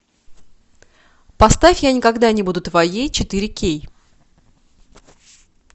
поставь я никогда не буду твоей четыре кей